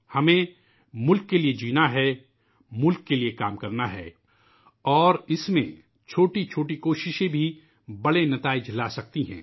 ہمیں ملک کے لئے جینا ہے ، ملک کے لئے کام کرنا ہے اور اس میں چھوٹی چھوٹی کوششوں سے بھی بڑے نتائج حاصل ہو جاتے ہیں